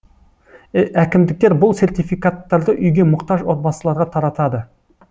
әкімдіктер бұл сертификаттарды үйге мұқтаж отбасыларға таратады